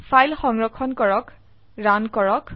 file সংৰক্ষণ কৰক run কৰক